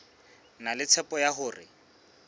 na le tshepo ya hore